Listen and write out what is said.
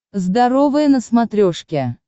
здоровое на смотрешке